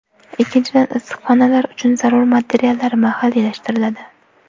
Ikkinchidan, issiqxonalar uchun zarur materiallar mahalliylashtiriladi.